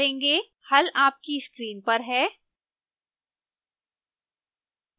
हल आपकी स्क्रीन पर है